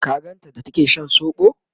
ka ganta da take Shan sobo?